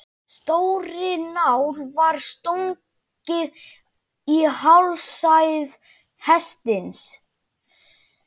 Stórri nál var stungið í hálsæð hestsins.